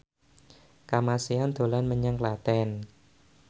Kamasean dolan menyang Klaten